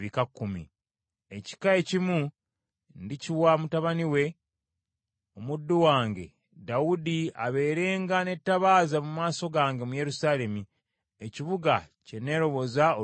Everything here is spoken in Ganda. Ekika ekimu ndikiwa mutabani we, omuddu wange Dawudi abeerenga n’ettabaaza mu maaso gange mu Yerusaalemi, ekibuga kye neeroboza olw’erinnya lyange.